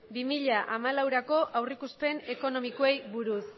bi mila hamalaurako aurreikuspen ekonomikoei buruz